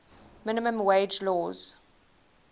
minimum wage laws